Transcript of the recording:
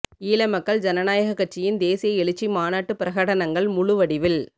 ஈழமக்கள் ஜனநாயக கட்சியின் தேசிய எழுச்சி மாநாட்டு பிரகடனங்கள் முழுவடிவில்